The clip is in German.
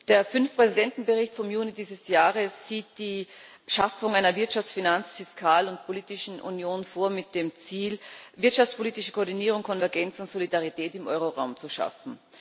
Der Fünf Präsidenten Bericht vom Juni dieses Jahres sieht die Schaffung einer Wirtschafts Finanz Fiskal und politischen Union vor mit dem Ziel, wirtschaftspolitische Koordinierung, Konvergenzen und Solidarität im Euroraum zu schaffen.